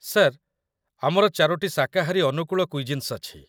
Sir, ଆମର ଚାରୋଟି ଶାକାହାରୀ ଅନୁକୂଳ କୁଇଜିନ୍ସ ଅଛି।